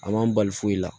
A man bali foyi la